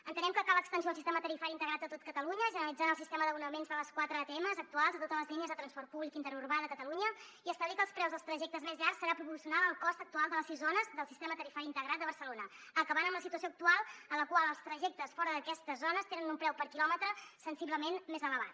entenem que cal extensió al sistema tarifari integrat a tot catalunya generalitzant el sistema d’abonaments de les quatre atms actuals a totes les línies de transport públic interurbà de catalunya i establir que els preus dels trajectes més llargs seran proporcionals al cost actual de les sis zones del sistema tarifari integrat de barcelona acabant amb la situació actual en la qual els trajectes fora d’aquestes zones tenen un preu per quilòmetre sensiblement més elevat